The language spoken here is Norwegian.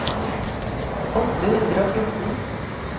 åtte hundre og fjorten